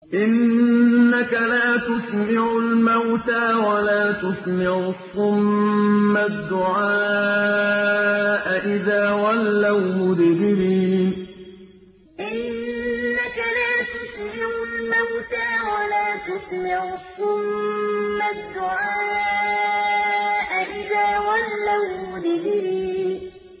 إِنَّكَ لَا تُسْمِعُ الْمَوْتَىٰ وَلَا تُسْمِعُ الصُّمَّ الدُّعَاءَ إِذَا وَلَّوْا مُدْبِرِينَ إِنَّكَ لَا تُسْمِعُ الْمَوْتَىٰ وَلَا تُسْمِعُ الصُّمَّ الدُّعَاءَ إِذَا وَلَّوْا مُدْبِرِينَ